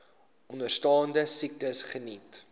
onderstaande siektes geniet